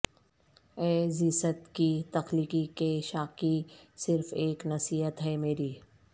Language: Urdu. اے زیست کی تلخی کے شاکی صرف ایک نصیحت ہے میری